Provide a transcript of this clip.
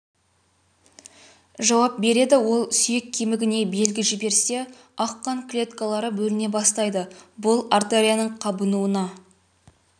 жауап береді ол сүйек кемігіне белгі жіберсе ақ қан клеткалары бөліне бастайды бұл артерияның қабынуына